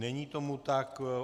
Není tomu tak.